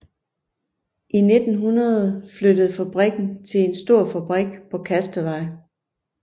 I 1900 flyttede fabrikken til en stor fabrik på Kastetvej